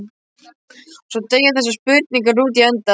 Svo deyja þessar spurningar út í endann.